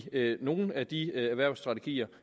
nogle af de erhvervsstrategier